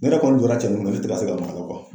Ne yɛrɛ kɔni jɔla cɛnin kunna ne te ka se maka